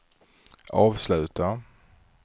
avsluta